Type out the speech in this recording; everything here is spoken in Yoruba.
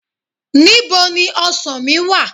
Ní bo ni ọsàn mí wà?